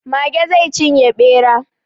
Mage zai cinye ɓera.